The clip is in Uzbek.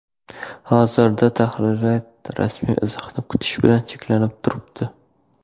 Hozirda tahririyat rasmiy izohni kutish bilan cheklanib turibdi.